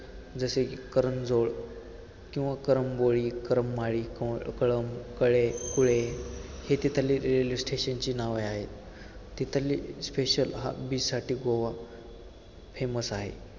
जसे की करंजोळ, करंबोळी, करमाळी, कळंब, कळें, कुळे हे तिथले railway station ची नावे आहेत, तिथले special beach साठी गोवा famous आहे.